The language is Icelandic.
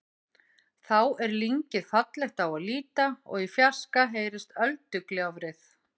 Þá er lyngið fallegt á að líta og í fjarska heyrist öldugjálfrið.